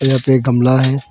यहां पे एक गमला है।